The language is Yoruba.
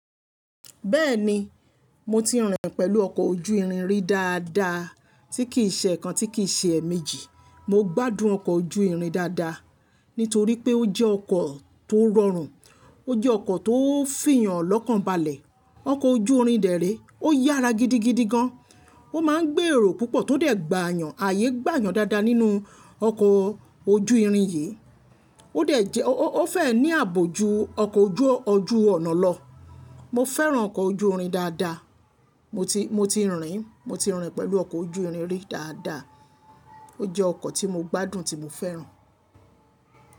Bẹ́ẹ̀ni, mo ti rìn pẹ̀lú ọkọ̀ ojú irin rí dáadáa, tí kì í ṣe ẹ̀ kan, tí kì í ṣe ẹ̀ méjì. Mo gbádùn ọkọ̀ ojú irin dáadáa, nítorí pé ó jẹ́ ọkọ̀ tó rọrùn, ó jẹ́ ọkọ̀ tó fìyàn lọ́kànbalẹ̀, ọkọ̀ ojú irin dèré. Ó yára gidigidi gan, ó máa ń gbé èrò púpọ̀ tó dẹ̀ gbà yàn, ayé gbà yàn dáadáa nínú ọkọ̀ ojú irin yìí. Ó dẹ̀ jẹ́, ó fẹ́ ní ààbò ju ọkọ̀ ojú ọ̀nà lọ. Mo fẹ́ràn ọkọ̀ ojú irin dáadáa, mo ti, mo ti rìn, mo ti rìn pẹ̀lú ọkọ̀ ojú irin rí dáadáa. Ó jẹ́ ọkọ̀ tí mo gbádùn tí mo fẹ́ràn.